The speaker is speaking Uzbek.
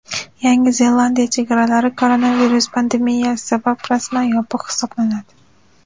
Yangi Zelandiya chegaralari koronavirus pandemiyasi sabab rasman yopiq hisoblanadi.